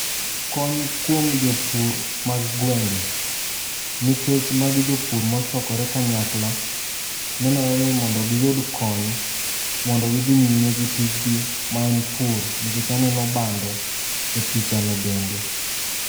Kony kuom jopur mag gwenge nikech magi jopur mochokore kanyakla. Nenore ni mondo giyud kony mondo gidhi nyime gi tijni maen pur nikech aneno bando e picha no bende.